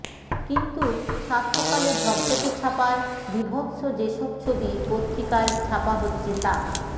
কিন্তু সাতসকালে ঝকঝকে ছাপায় বীভৎস যেসব ছবি পত্রিকায় ছাপা হচ্ছে তা